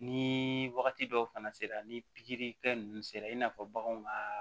Ni wagati dɔw fana sera ni pikiri kɛ ninnu sera i n'a fɔ baganw ka